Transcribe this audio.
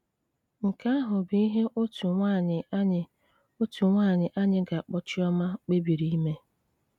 Nke ahụ bụ ihe otu nwaanyị anyị otu nwaanyị anyị ga-akpọ Chioma kpebiri ime.